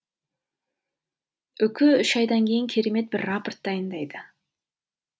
үкі үш айдан кейін керемет бір рапорт дайындайды